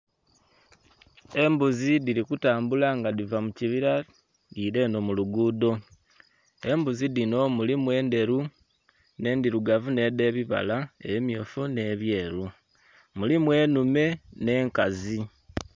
Embuzi dhiri kutambula nga dhiva mu kibira dhiira eno mu luguudo, embuzi dhino mulimu endheru, ne'ndhirugavu ne'dhe bibala ebimyufu ne'byeru, mulimu enhume ne'nkazi.